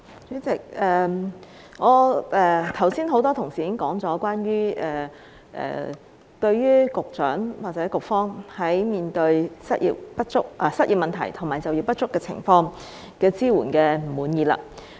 主席，多位同事剛才已提到，不滿意局長或局方對於失業問題及就業不足情況的支援。